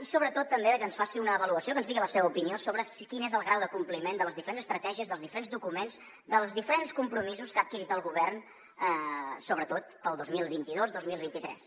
i sobretot també que ens faci una avaluació que ens digui la seva opinió sobre quin és el grau de compliment de les diferents estratègies dels diferents documents dels diferents compromisos que ha adquirit el govern sobretot per al dos mil vint dos i dos mil vint tres